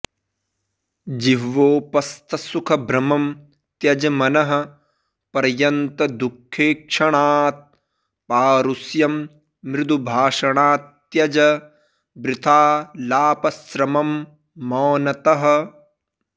जिह्वोपस्थसुखभ्रमं त्यज मनः पर्यन्तदुःखेक्षणात् पारुष्यं मृदुभाषणात्त्यज वृथालापश्रमं मौनतः